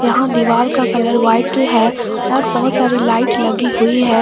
यहां दीवाल का कलर व्हाइट है और बहुत सारी लाइट लगी हुई है।